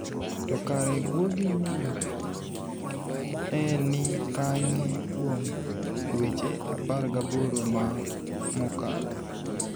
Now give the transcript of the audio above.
To kare, guogi ni e nii kaniye kuom dweche 18 ma mokalo?